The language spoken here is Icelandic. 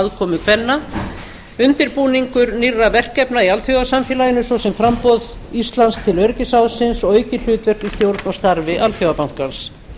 aðkomu kvenna undirbúning nýrra verkefna í alþjóðasamfélaginu svo sem framboð til íslands til öryggisráðsins og aukið hlutverk í stjórn og starfi alþjóðabankans